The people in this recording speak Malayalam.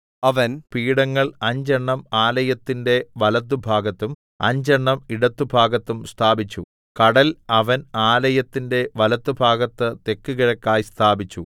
അവൻ പീഠങ്ങൾ അഞ്ചെണ്ണം ആലയത്തിന്റെ വലത്തുഭാഗത്തും അഞ്ചെണ്ണം ഇടത്തുഭാഗത്തും സ്ഥാപിച്ചു കടൽ അവൻ ആലയത്തിന്റെ വലത്ത് ഭാഗത്ത് തെക്കുകിഴക്കായി സ്ഥാപിച്ചു